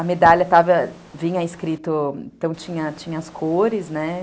A medalha estava, vinha escrita... Então, tinha as cores, né?